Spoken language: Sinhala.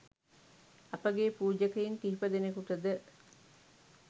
අප ගේ පූජකයින් කිහිප දෙනෙකුට ද